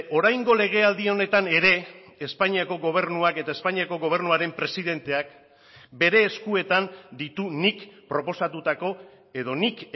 oraingo legealdi honetan ere espainiako gobernuak eta espainiako gobernuaren presidenteak bere eskuetan ditu nik proposatutako edo nik